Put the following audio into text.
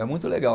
É muito legal.